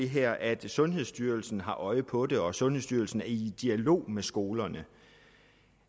her at sundhedsstyrelsen har øje på det og at sundhedsstyrelsen er i dialog med skolerne